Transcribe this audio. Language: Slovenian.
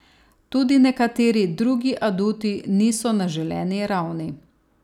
Tudi nekateri drugi aduti niso na želeni ravni.